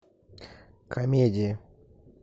комедии